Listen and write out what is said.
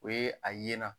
O ye a ye na